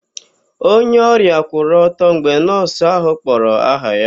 Onye ọrịa kwụrụ ọtọ mgbe nọọsụ ahụ kpọrọ aha ya.